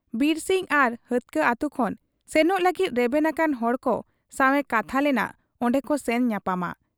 ᱵᱤᱨᱥᱤᱝ ᱟᱨ ᱦᱟᱹᱛᱠᱟᱹ ᱟᱹᱛᱩ ᱠᱷᱚᱱ ᱥᱮᱱᱚᱜ ᱞᱟᱹᱜᱤᱫ ᱨᱮᱵᱮᱱ ᱟᱠᱟᱱ ᱦᱚᱲᱠᱚ ᱥᱟᱶ ᱮ ᱠᱟᱛᱷᱟ ᱞᱮᱱᱟ ᱚᱱᱰᱮᱠᱚ ᱥᱮᱱ ᱧᱟᱯᱟᱢᱟ ᱾